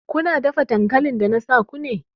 Kuna dafa dankalin da na sa ku ne!